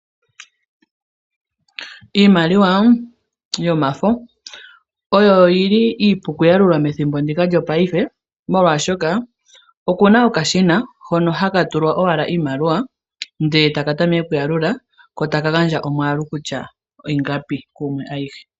Iimaliwa yomafo oyo iipu okuyalula methimbo lyopaife molwaashoka okuna okashina hono haka tulwa owala iimaliwa ndele etaka tameke okuyalula etaka gandja omwaalu gwiimaliwa kutya ingapi kumwe ayihe.